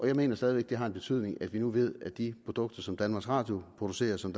jeg mener stadig væk det har en betydning at vi nu ved at i de produkter som danmarks radio producerer og som